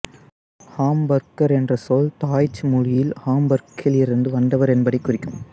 hamburger என்ற சொல் டாய்ச்சு மொழியில் ஹாம்பெர்கிலிருந்து வந்தவர் என்பதைக் குறிக்கும்